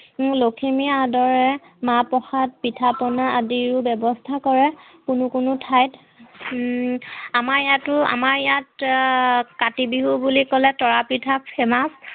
লখীমী আদৰে মাহ প্ৰসাদ, পিঠা পোণা আদিৰো ব্যৱস্থা কৰে, কোনো কোনো ঠাইত হম আমাৰ ইয়াতো আমাৰ ইয়াত কাতি বিহু বুলি কলে তৰা পিঠা খেনাও